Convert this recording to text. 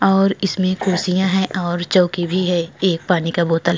और इसमें कुर्सियां है और चोंकी भी है। एक पानी का बोतल --